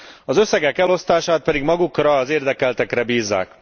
Az összegek elosztását pedig magukra az érdekeltekre bízzák.